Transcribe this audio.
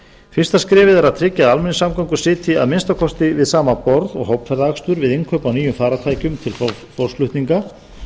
fyrsta skrefið er að tryggja að almenningssamgöngur sitji að minnsta kosti við sama borð og hópferðaakstur við innkaup á nýjum farartækjum til fólksflutninga